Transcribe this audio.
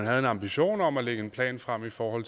havde en ambition om at lægge en plan frem for